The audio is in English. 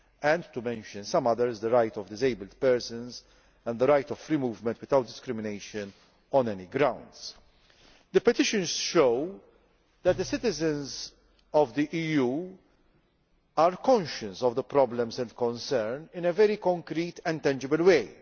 and to mention some others on the rights of disabled persons and the right of free movement without discrimination on any grounds. The petitions show that the citizens of the EU are conscious of the problems and concerns in a very concrete and tangible way.